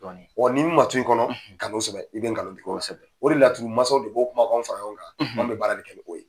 Ɔ ni minɛ ma to in kɔnɔ kan'o sɛbɛ, i bɛ kalon tigɛ, kosɛbɛ. o de laturu mansa bɛ o kumakan ninnu fara ɲɔgɔn kan , an bɛ baara de kɛ n'o ye.